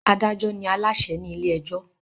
Adájọ́ ni Aláṣẹ ni ilé ẹjọ́